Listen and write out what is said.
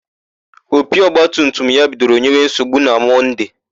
Opi ọgbatumtum ya bidoro nyewe nsogbu na Mọnde.